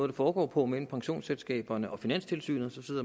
det foregår på mellem pensionsselskaberne og finanstilsynet